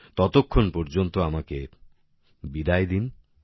ততক্ষণ পর্যন্ত আমাকে বিদায় দিন